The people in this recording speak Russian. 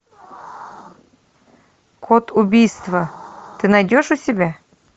код убийства ты найдешь у себя